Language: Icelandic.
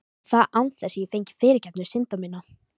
Og það án þess ég fengi fyrirgefningu synda minna.